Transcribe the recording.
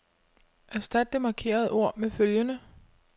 Erstat det markerede ord med følgende.